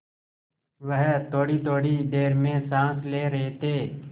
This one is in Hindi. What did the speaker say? वह थोड़ीथोड़ी देर में साँस ले रहे थे